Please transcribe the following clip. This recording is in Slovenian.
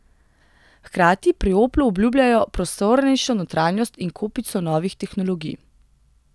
Hkrati pri Oplu obljubljajo prostornejšo notranjost in kopico novih tehnologij.